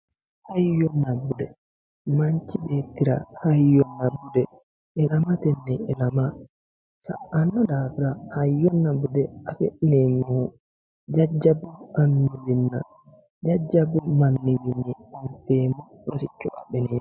Hayyonna bude manchi beettira hayyonna bude ilaamtenni ilama sa'anno daafira hayyonna bude afi'neemmohu jajjabbu annuwiinna jajjabbu manniwiinni rosicho adhineemmo.